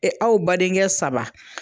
aw badenkɛ saba